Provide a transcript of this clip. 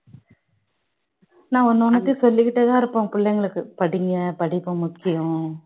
நான் ஒன்னு ஒன்னத்தையும் சொல்லிக்கிட்டே தான் இருப்பேன் பிள்ளைங்களுக்கு படிங்க படிப்பு முக்கியம்